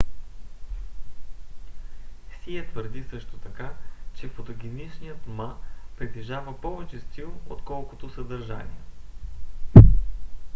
сие твърди също така че фотогеничният ма притежава повече стил отколкото съдържание